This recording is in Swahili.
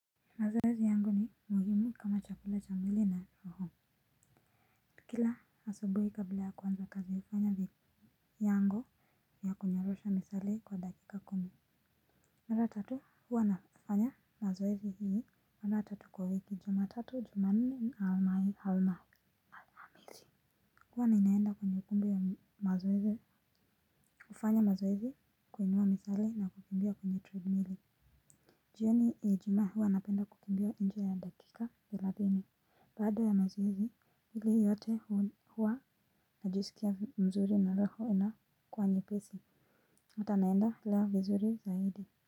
Mazoezi yangu ni muhimu kama chakula cha mwili na roho. Kila asubuhi kabla ya kuanza kazi hufanya vyango ya kunyorosha misuli kwa dakika kumi. Mara tatu huwa nafanya mazoezi hii mara tatu kwa wiki juma tatu juma nne alma hii alma. Huwa ninaenda kwenye kumbi ya mazoezi hufanya mazoezi kuinua misuli na kukimbia kwenye treadmili. Jioni ya ijuma huwa napenda kukimbia nje ya dakika thelathini. Baada ya mazoezi, ile yote huwa najisikia mzuri na roho inakuwa nyepesi. Hata naenda lea vizuri zaidi.